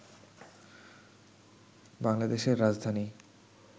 বাংলাদেশের রাজধানী